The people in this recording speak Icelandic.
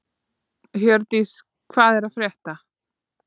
Hjördís, hvað er að frétta?